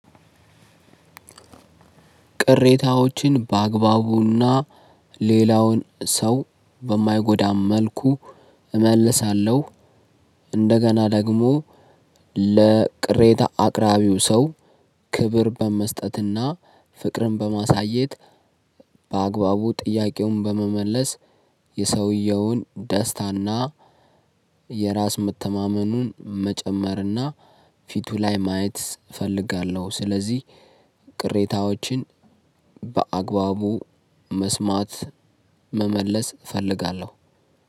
ቅሬታዎችን በአግባቡና ሌላውን ሰው በማይጎዳ መልኩ እመልሳለሁ። እንደገና ደግሞ ለቅሬታ አቅራቢው ሰው ክብር በመስጠትና ፍቅርን በማሳየት በአግባቡ ጥያቄውን በመመለስ። የሰውየውን ደስታና የራስ መተማመኑን መጨመርና ፊቱ ላይ ማየት እፈልጋለሁ። ስለዚህ ቅሬታዎችን በአግባቡ መስማት መመለስ እፈልጋለሁ።